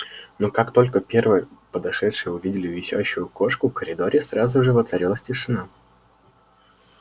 но как только первые подошедшие увидели висящую кошку в коридоре сразу же воцарилась тишина